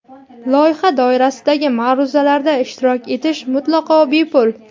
Loyiha doirasidagi ma’ruzalarda ishtirok etish mutlaqo bepul.